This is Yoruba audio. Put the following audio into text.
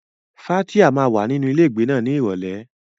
Fathia máa wà nínú ilé ìgbé náà ní Ìrọ̀lẹ́.